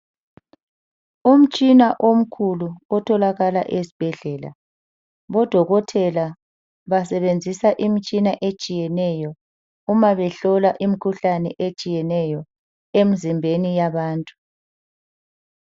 Umtshina omkhulu otholakala esibhedlela, bodokothela basebenzisa imitshina etshiyeneyo uma behlola imikhuhlane etshiyeneyo emizimbeni yabantu.